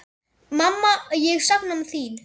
Mamma ég sakna þín.